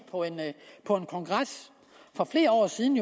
på en kongres for flere år siden